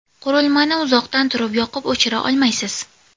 Qurilman iuzoqdan turib yoqib-o‘chira olmaysiz.